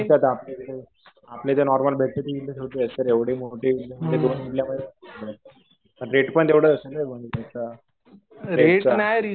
आपलं ते नॉर्मल भेटते ती छोटी असते. एवढी मोठी इडली म्हणजे दोन इडल्यामध्ये. रेट पण तेवढं असेल पण त्याचा. याचा.